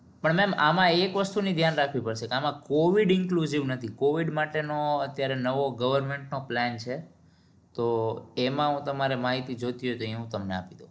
પણ mem આમાં એક વસ્તુની ધ્યાન રાખવી પડશે આમાં covid inclus નથી covid માટેનું અત્યારે government plan છે તો એમાં હું તમારે માહિતી જોઈતી હશે તો હું તમને આપું